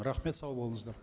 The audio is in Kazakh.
рахмет сау болыңыздар